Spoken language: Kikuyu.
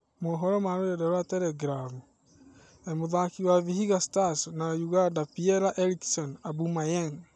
(Mohoro ma Rũrenda rwa Teregirabu) Mũtharĩkĩri wa Vihiga Stars na Ũganda Piera-Erickson Aubameyang,